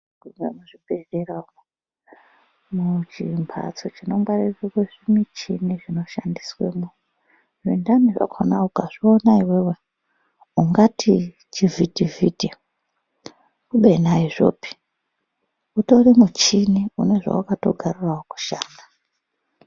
Zvaamuzvibhedhlera umwo, muchimphatso chinongwarirwe zvimuchini zvinoshandiswemwo, zvintani zvakhona ukazviona iwewe, ungati chivhitivhiti, kubeni aizvopi, utori muchini, une zvawakatogarirawo kushanda.